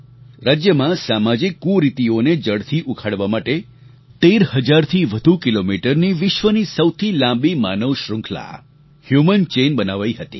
રાજ્યમાં સામાજિક કુરીતિઓને જડથી ઉખાડવા માટે 13 હજારથી વધુ કિલોમીટરની વિશ્વની સૌથી લાંબી માનવ શ્રૃખંલા હ્યુમન ચેઇન બનાવાઈ હતી